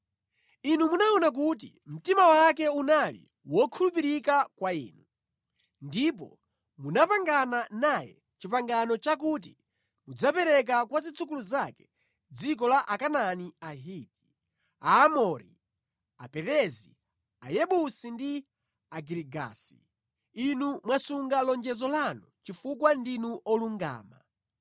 Inu munaona kuti mtima wake unali wokhulupirika kwa inu, ndipo munapangana naye pangano lakuti mudzapereka kwa zidzukulu zake dziko la Akanaani Ahiti, Aamori, Aperezi, Ayebusi ndi Agirigasi. Inu mwasunga lonjezo lanu chifukwa ndinu wolungama.